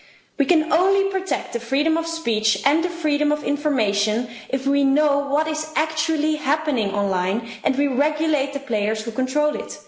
We can only protect the freedom of speech and the freedom of information if we know what is actually happening online and we regulate the players who control it.